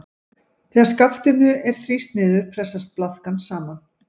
Þegar skaftinu er þrýst niður pressast blaðkan saman.